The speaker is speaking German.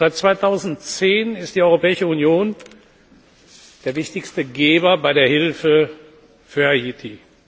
Seit 2010 ist die Europäische Union der wichtigste Geber bei der Hilfe für Haiti.